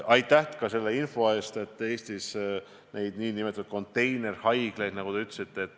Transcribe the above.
Aitäh ka selle info eest, et Eestis toodetakse neid nn konteinerhaiglaid, nagu te ütlesite.